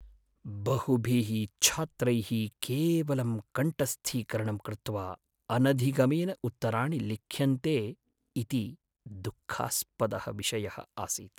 बहुभिः छात्रैः केवलं कण्ठस्थीकरणं कृत्वा अनधिगमेन उत्तराणि लिख्यन्ते इति दुःखास्पदः विषयः आसीत्।